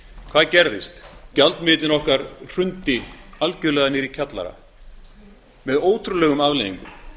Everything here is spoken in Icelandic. hvað gerðist gjaldmiðillinn okkar hrundi algjörlega niður í kjallara með ótrúlegum afleiðingum